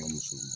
Ka muso ma